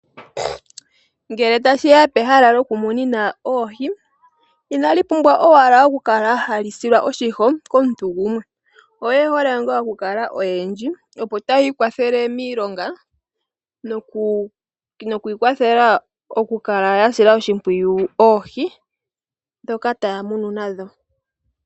Ngele tashiya pehala lyoku munina oohi inali pumbwa owala okukala hali silwa oshiho komuntu gumwe ,eyohole ngaa okukala oyendji opo tayi ikwathele miilonga noku ikwathela okukala ya sila oshimpwiyu oohi ndhoka taya munu nadho.